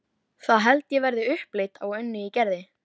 Það held ég verði upplit á Önnu í Gerði.